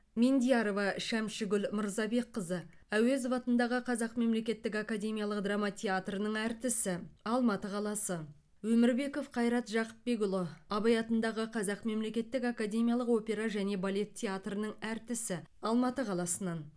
мендиярова шәмшігүл мырзабекқызы әуезов атындағы қазақ мемлекеттік академиялық драма театрының әртісі алматы қаласы өмірбеков қайрат жақыпбекұлы абай атындағы қазақ мемлекеттік академиялық опера және балет театрының әртісі алматы қаласынан